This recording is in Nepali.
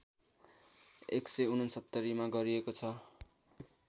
१६९ मा गरिएको छ